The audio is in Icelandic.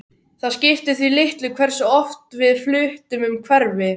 Það skipti því litlu hversu oft við fluttum um hverfi.